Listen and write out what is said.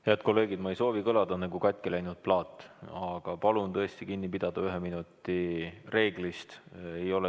Head kolleegid, ma ei soovi kõlada nagu katki läinud plaat, aga palun tõesti kinni pidada ühe minuti reeglist.